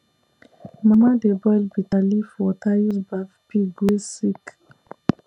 mama dey boil bitterleaf water use baff pig wey sick